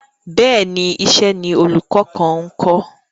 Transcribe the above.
Bẹ́ẹ̀ni, iṣẹ́ ni olùkọ kan ńkọ́.